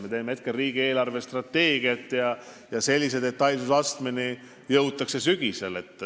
Me teeme praegu riigi eelarvestrateegiat ja sellise detailsusastmeni jõutakse sügisel.